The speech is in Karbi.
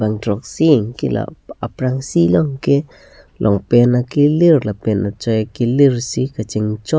bang throksi anke la aprangsi bangke longpant akelir lapen achoi akelir si kachingchoi.